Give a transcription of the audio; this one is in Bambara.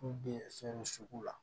K'u be fɛn sugu la